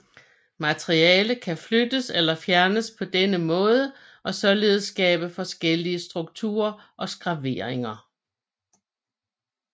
Materiale kan flyttes eller fjernes på denne måde og således skabe forskellige strukturer og skraveringer